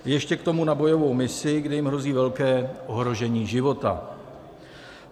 Ještě k tomu na bojovou misi, kde jim hrozí velké ohrožení života.